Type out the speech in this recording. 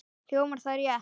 Hljómar það rétt?